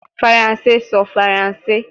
Faranse sọ Faranse